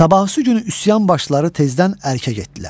Sabahı gün üsyan başları tezdən Ərkə getdilər.